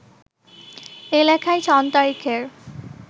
এ লেখায় সন-তারিখের